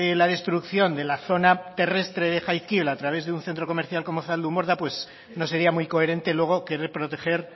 la destrucción de la zona terrestre de jaizkaibel a través de un centro comercial como zaldunborda pues no sería muy coherente luego querer proteger